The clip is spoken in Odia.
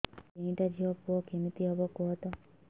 ମୋର ତିନିଟା ଝିଅ ପୁଅ କେମିତି ହବ କୁହତ